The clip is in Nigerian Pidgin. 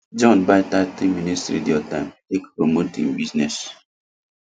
john buy thirty minutes radio time take promote hin business